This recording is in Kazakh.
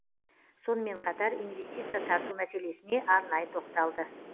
сонымен қатар инвестиция тарту мәселесіне арнайы тоқталды